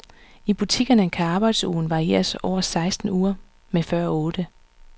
I butikkerne kan arbejdsugen varieres over seksten uger mod før otte.